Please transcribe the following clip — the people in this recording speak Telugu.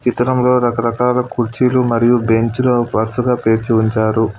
చిత్రంలో రకరకాల కుర్చీలు మరియు బెంచులు వరుసగా పేర్చి ఉంచారు.